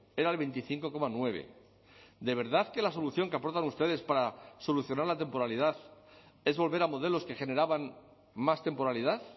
era el veinticinco coma nueve de verdad que la solución que aportan ustedes para solucionar la temporalidad es volver a modelos que generaban más temporalidad